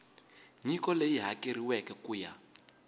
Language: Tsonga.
nyiko leyi hakeriweke ku ya